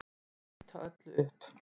Þá mun ég ýta öllu upp.